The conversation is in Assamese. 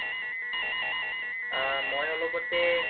অ' মই অলপতে